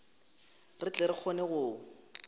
re tle re kgone go